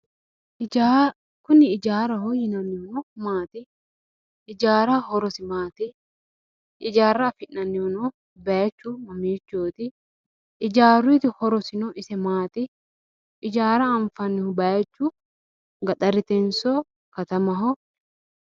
Hijaara kuni hijaaraho yinannihu maati? Ijaaruyiitino horosi maati? ijaara afi'nannihuno bayiichu mamichooti? Ijaaruyiitino horosi ise maati? Ijaara anfannihu bayiichu katamahonso gaxarete?